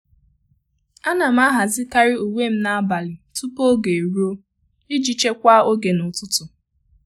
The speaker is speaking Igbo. À nà m àhàzị́karị uwe m n’ábàlị̀ tupu ógè érúọ iji chekwaa oge n’ụ́tụ́tụ́.